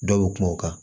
Dɔ bɛ kuma o kan